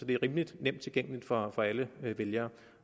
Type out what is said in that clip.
det er rimelig nemt tilgængeligt for for alle vælgere